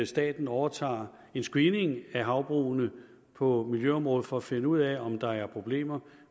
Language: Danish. staten overtager en screening af havbrugene på miljøområdet for at finde ud af om der er problemer og